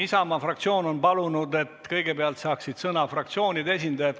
Isamaa fraktsioon on palunud, et kõigepealt saaksid sõna fraktsioonide esindajad.